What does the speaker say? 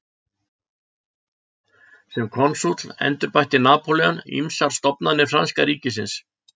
Sem konsúll endurbætti Napóleon ýmsar stofnanir franska ríkisins.